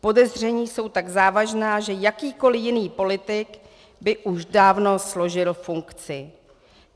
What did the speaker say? Podezření jsou tak závažná, že jakýkoli jiný politik by už dávno složil funkci.